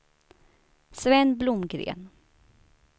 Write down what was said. Sven Blomgren